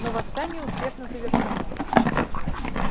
но восстание успешно завершено